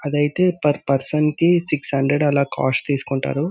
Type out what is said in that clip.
అదైతే పర్సన్ కి six hundred అలా కాస్ట్ తీసుకుంటారు.